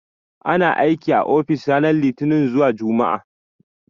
Ana aiki a ofis ranar Litini zuwa Jumma'a.